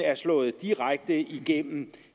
er slået direkte igennem